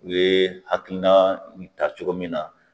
U ye hakilina in taa cogo min na